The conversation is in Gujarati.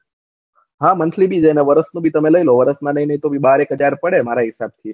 આ monthly ભી અને વર્ષ ભી નું તમે લઇ લો વર્ષ ના લઇ ને તો ભી બાર એક હાજર પડે મારા હિસાબ થી